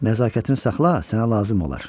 Nəzakətini saxla, sənə lazım olar.